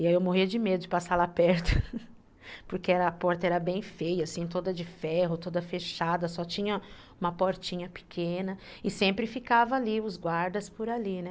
E aí eu morria de medo de passar lá perto, porque a porta era bem feia, assim, toda de ferro, toda fechada, só tinha uma portinha pequena, e sempre ficava ali, os guardas por ali, né.